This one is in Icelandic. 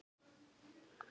Skynjun almennt